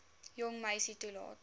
jong meisie toelaat